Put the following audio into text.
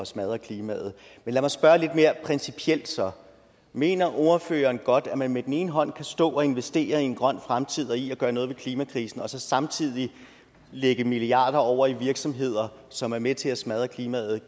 smadre klimaet men lad mig spørge lidt mere principielt så mener ordføreren godt at man med den ene hånd kan stå og investere i en grøn fremtid og i at gøre noget ved klimakrisen og så samtidig lægge milliarder over i virksomheder som er med til at smadre klimaet